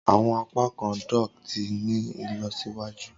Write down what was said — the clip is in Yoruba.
Awọn apakan dock ti ni ilọsiwaju.